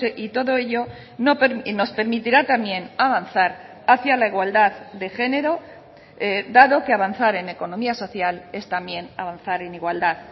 y todo ello nos permitirá también avanzar hacia la igualdad de género dado que avanzar en economía social es también avanzar en igualdad